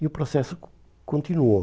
E o processo con continuou.